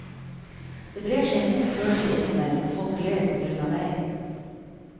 Det brer seg en god følelse inni meg når folk ler på grunn av meg.